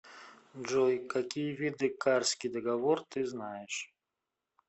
джой какие виды карский договор ты знаешь